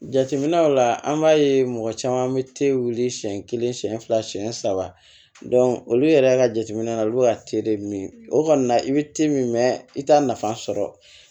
Jateminɛw la an b'a ye mɔgɔ caman bɛ wuli siɲɛ kelen siɲɛ fila siɲɛ saba olu yɛrɛ ka jateminɛ na olu bɛ ka de min o kɔni na i bɛ i t'a nafa sɔrɔ